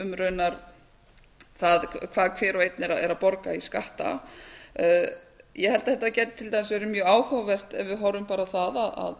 um raunar það hvað hver og einn er að borga í skatta ég held að þetta gæti til dæmis verið mjög áhugavert ef við horfum bara á